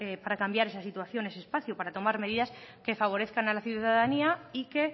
para cambiar esa situación en ese espacio para tomar medidas que favorezcan a la ciudadanía y que